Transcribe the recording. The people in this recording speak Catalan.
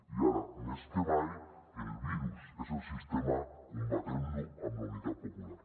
i ara més que mai el virus és el sistema combatem lo amb la unitat popular